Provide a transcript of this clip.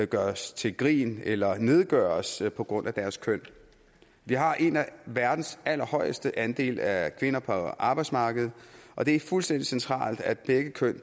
gøres til grin eller nedgøres på grund af deres køn vi har en af verdens allerhøjeste andele af kvinder på arbejdsmarkedet og det er fuldstændig centralt at begge køn